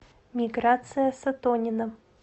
миграция сатонина